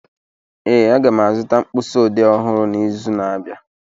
Ee, aga m azụta mkpịsị odee ọhụrụ n'izu na-abịa